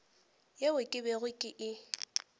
yeo ke bego ke e